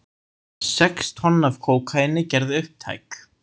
Sex tonn af kókaíni gerð upptæk